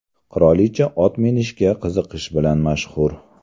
Qirolicha ot minishga qiziqishi bilan mashhur.